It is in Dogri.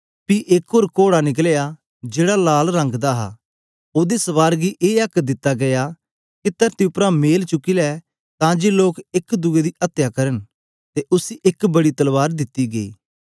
पी एक ओर कोड़ा निकलया जेहड़ा लाल रंग दा हा ओदे सवार गी ए आक्क दिता गीया के तरती उप्परा मेल चुकी लै तां जे लोग एक दुए दी अत्या करन ते उसी एक बड़ी तलवार दिती गई